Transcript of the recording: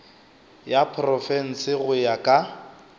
ya profense go ya ka